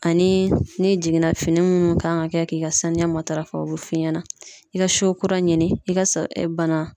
Ani ni jiginna fini munnu kan ka kɛ k'i ka saniya matarafa o be f'i ɲɛna i ka siyon kura ɲini i ka bana